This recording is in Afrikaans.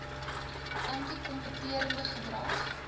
anti kompeterende gedrag